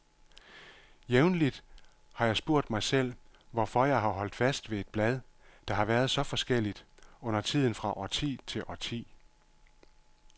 Jævnligt har jeg spurgt mig selv, hvorfor jeg har holdt fast ved et blad, der har været så forskelligt, undertiden fra årti til årti.